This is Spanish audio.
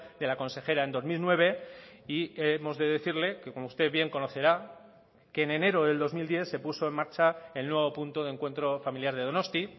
de la consejera en dos mil nueve y hemos de decirle que como usted bien conocerá que en enero del dos mil diez se puso en marcha el nuevo punto de encuentro familiar de donosti